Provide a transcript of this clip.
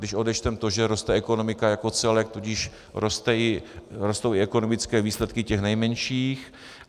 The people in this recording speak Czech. Když odečteme to, že roste ekonomika jako celek, tudíž rostou i ekonomické výsledky těch nejmenších.